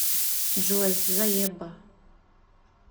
джой заеба